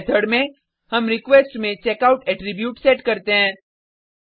इस मेथड में हम रिक्वेस्ट में चेकआउट एट्रीब्यूट सेट करते हैं